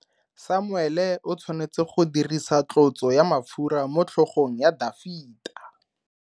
Samuele o tshwanetse go dirisa tlotso ya mafura motlhogong ya Dafita.